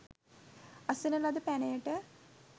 අසන ලද පැනයට